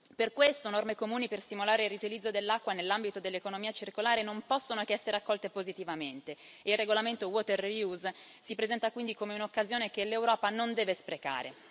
Per questo norme comuni per stimolare il riutilizzo dell'acqua nell'ambito dell'economia circolare non possono che essere accolte positivamente e il regolamento sul riutilizzo dell'acqua si presenta quindi come una occasione che l'Europa non deve sprecare.